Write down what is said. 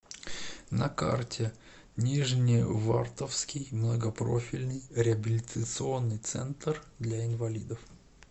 на карте нижневартовский многопрофильный реабилитационный центр для инвалидов